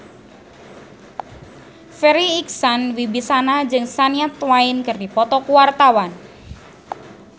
Farri Icksan Wibisana jeung Shania Twain keur dipoto ku wartawan